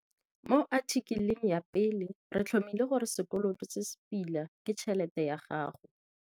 Mo athikeleng ya pele re tlhomile gore sekoloto se se pila ke tšhelete ya gago.